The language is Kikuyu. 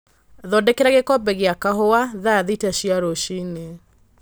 thondekera gĩkombe gĩa kahũa thaa thita cia rũcinĩ